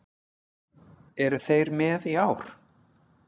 Eru þeir með í ár?